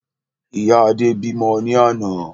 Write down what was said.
Ìyá Adé bímọ ní àná